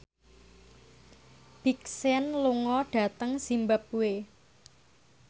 Big Sean lunga dhateng zimbabwe